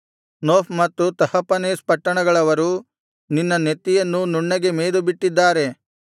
ನೋಫ್ ಮತ್ತು ತಹಪನೇಸ್ ಪಟ್ಟಣಗಳವರು ನಿನ್ನ ನೆತ್ತಿಯನ್ನೂ ನುಣ್ಣಗೆ ಮೇದುಬಿಟ್ಟಿದ್ದಾರೆ